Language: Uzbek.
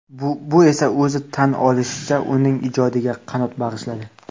Bu esa, o‘zi tan olishicha, uning ijodiga qanot bag‘ishladi.